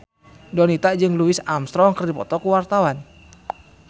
Donita jeung Louis Armstrong keur dipoto ku wartawan